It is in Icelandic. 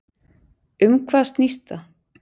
Um hvað snýst það?